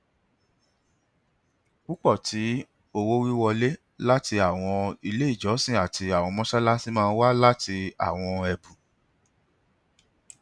pupọ ti owowiwọle lati awọn ile ijọsin ati awọn mọṣalaṣi maa n wa lati awọn ẹbun